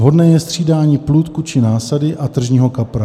Vhodné je střídání plůdku či násady a tržního kapra.